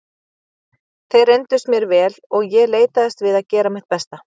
Þeir reyndust mér vel og ég leitaðist við að gera mitt besta.